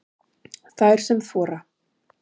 Þær sem þora